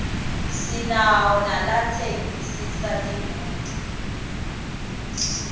sinawo nalatsensisa timoto